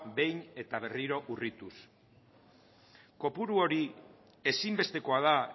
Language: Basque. behin eta berrio urrituz kopuru hori ezinbestekoa da